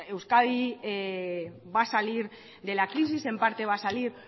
euskadi va a salir de la crisis en parte va a salir